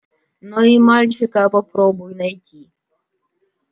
но и мальчика попробуй найти